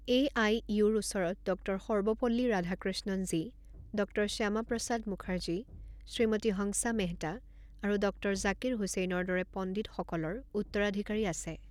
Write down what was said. এআইইউৰ ওচৰত ডঃ সৰ্বপল্লী ৰাধাকৃষ্ণণজী, ডঃ শ্যামা প্ৰসাদ মুখাৰ্জী, শ্ৰীমতী হংসা মেহতা আৰু ডঃ জাকিৰ হুছেইনৰ দৰে পণ্ডিতসকলৰ উত্তৰাধিকাৰী আছে।